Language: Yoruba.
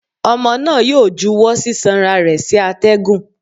Ọmọ náà yóò júwọ sisanra rẹ sí atẹgún